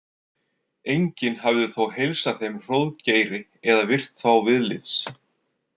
Enginn hafði þó heilsað þeim Hróðgeiri eða virt þá viðlits.